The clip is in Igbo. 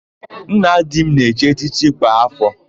Nna di m na-echi echichi kwa áfọ̀.